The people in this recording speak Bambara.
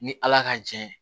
Ni ala ka jɛ ye